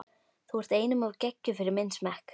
þú ert einum of geggjuð fyrir minn smekk.